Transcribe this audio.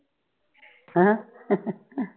ਹਾ ਹੈ ਹਾਂ ਹਾਂ